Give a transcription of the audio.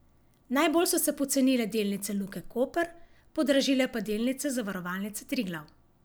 Najbolj so se pocenile delnice Luke Koper, podražile pa delnice Zavarovalnice Triglav.